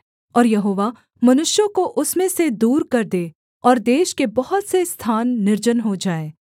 और यहोवा मनुष्यों को उसमें से दूर कर दे और देश के बहुत से स्थान निर्जन हो जाएँ